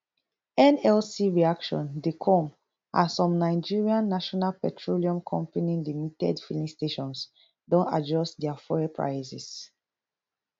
nlc reaction dey come as some nigerian national petroleum company limited filling stations don adjust dia fuel prices